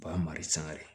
U b'a mara sanga de